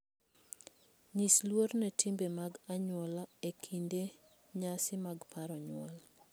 Nyis luor ne timbe mag anyuola e kinde nyasi mag paro nyuol.